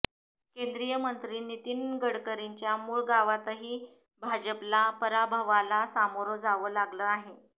केंद्रीय मंत्री नितीन गडकरींच्या मूळ गावातही भाजपला पराभवाला सामोरं जावं लागलं आहे